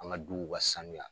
An ka duw ka sanuya